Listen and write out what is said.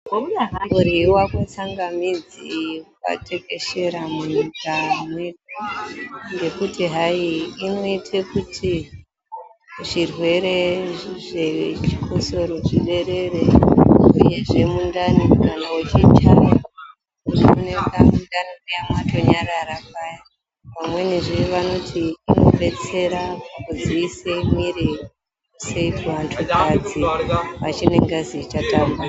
Kuryiwa kwetsangamidzi kwatekeshera munyika mwedu ngekuti hai inoite kuti zvirwere zvechikotsoro zviderere uyezve mundani kana uchichaya unooneka mundani muya matonyarara paya vamweni zvevanoti inodetsera kudziise mwiri sekuvanhukadzi vachine ngazi ichatamba.